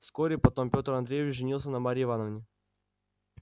вскоре потом пётр андреевич женился на марье ивановне